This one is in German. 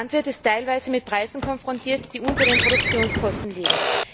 Der Landwirt ist teilweise mit Preisen konfrontiert, die unter den Produktionskosten liegen.